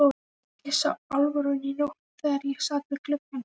Ég sá Álfrúnu í nótt þegar ég sat við gluggann.